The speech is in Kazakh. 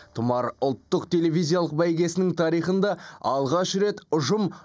тұмар ұлттық телевизиялық бәйгесінің тарихында алғаш рет ұжым